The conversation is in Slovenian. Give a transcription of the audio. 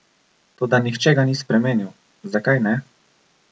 Toda nihče ga ni spremenil, zakaj ne?